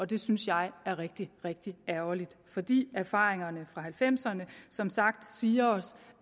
det synes jeg er rigtig rigtig ærgerligt fordi erfaringerne fra nitten halvfemserne som sagt siger os